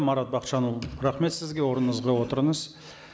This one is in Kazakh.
марат бақытжанұлы рахмет сізге орныңызға отырыңыз